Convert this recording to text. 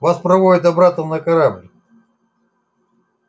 вас проводят обратно на корабль